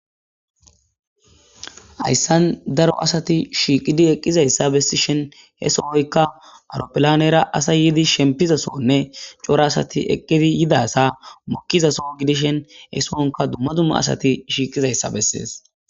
hayssan daro asati shiiqidi eqqizayssa bessishen he sohoyka awuropolanera asa yidi shempizasonne cora asati eqqidi yidasa mokkizaso gidishen he soonka dumma dumma asati shiiqizayssa bessees